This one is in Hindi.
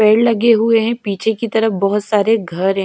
पेड़ लगे हुए हैं पीछे कि तरफ बहोत सारे घर--